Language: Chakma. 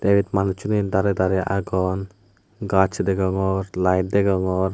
te ebet manussuney darey darey agon gaj degongor laet degongor.